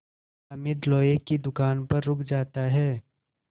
हामिद लोहे की दुकान पर रुक जाता है